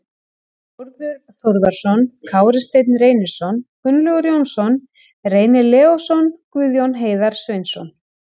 Þórður Þórðarson, Kári Steinn Reynisson, Gunnlaugur Jónsson, Reynir Leósson, Guðjón Heiðar Sveinsson